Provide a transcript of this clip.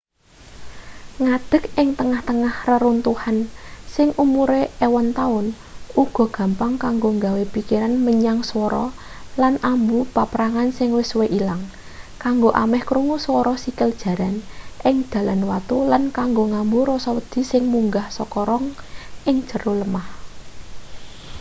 ngadek ing tengah-tengah reruntuhan sing umure ewon taun uga gampang kanggo nggawa pikiran menyang swara lan ambu paprangan sing wis suwe ilang kanggo ameh krungu swara sikil jaran ing dalan watu lan kanggo ngambu rasa wedi sing munggah saka rong ing jero lemah